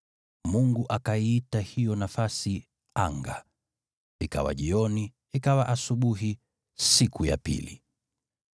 Mungu akaiita hiyo nafasi “anga.” Ikawa jioni, ikawa asubuhi, siku ya pili.